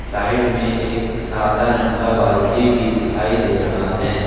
Side में एक सादा रंग का बाल्टी भी दिखाई दे रहा है।